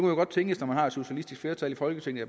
jo godt tænkes når man har et socialistisk flertal i folketinget